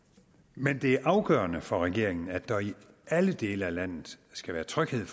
men det er afgørende for regeringen at der i alle dele af landet skal være tryghed